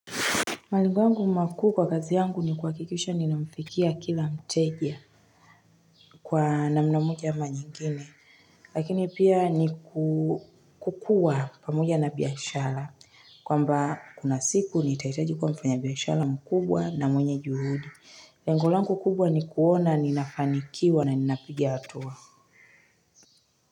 Malengo yangu makuu kwa kazi yangu ni kuhakikisha ninamfikia kila mteja kwa namna moja ama nyingine. Lakini pia ni kukuwa pamoja na biashara. Kwamba kunasiku nitahitaji kuwa mfanyabiashara mkubwa na mwenye juhudi. Lengu langu kubwa ni kuona ninafanikiwa na ninapiga hatua.